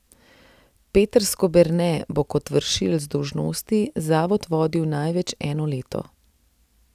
Peter Skoberne bo kot vršilec dolžnosti zavod vodil največ eno leto.